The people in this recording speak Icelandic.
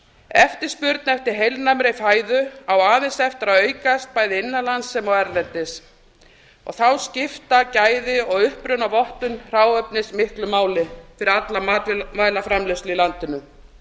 eftirspurn eftir heilnæmri fæðu á aðeins eftir að aukast bæði innan lands sem og erlendis þá skipta gæði og upprunavottun hráefnismiklu máli fyrir alla matvælaframleiðslu í landinu þegar